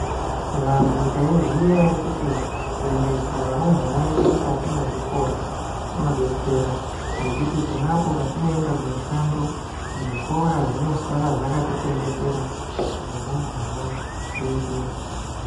Vantu taiziya ere kuti kuendesa varumbwana vedu mukati mwezvikora kunodetsera ngekuti ponapo patinoenda kumishando, zvikora zvinosara zvakatichengetera varumbwana vedu.